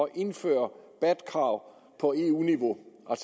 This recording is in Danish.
at indføre bat krav på eu niveau og